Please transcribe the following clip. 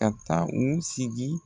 Ka taa u sigi.